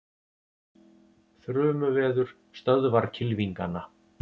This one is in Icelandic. Þrumuveður stöðvar kylfingana